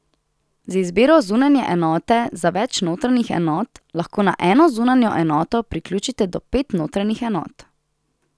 Z izbiro zunanje enote za več notranjih enot, lahko na eno zunanjo enoto priključite do pet notranjih enot.